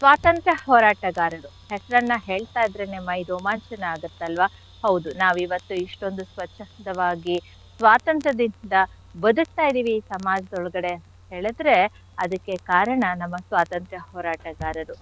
ಸ್ವಾತಂತ್ರ್ಯ ಹೋರಾಟಗಾರರು ಹೆಸರನ್ನ ಹೇಳ್ತಾ ಇದ್ರೇನೆ ಮೈ ರೋಮಾಂಚನ ಆಗತ್ತಲ್ವ ಹೌದು ನಾವಿವತ್ತು ಇಷ್ಟೊಂದು ಸ್ವಚ್ಛಂದವಾಗಿ ಸ್ವಾತಂತ್ರ್ಯದಿಂದ ಬದ್ಕ್ತಾ ಇದೀವಿ ಸಮಾಜದೊಳಗಡೆ ಅಂತ್ ಹೇಳಿದ್ರೆ ಅದಕ್ಕೆ ಕಾರಣ ನಮ್ಮ ಸ್ವಾತಂತ್ರ್ಯ ಹೋರಾಟಗಾರರು.